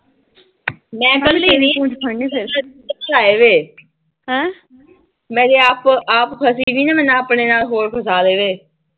ਮੈੰ ਮੈਂ ਜੇ ਆਪ-ਆਪ ਫਸ ਗੀ ਨਾ, ਮੈਨੇ ਆਪਣੇ-ਆਪ ਹੋਰ ਫਸਾ ਲੈਣੇ। ਆਹੋ।